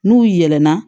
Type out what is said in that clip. N'u yɛlɛ na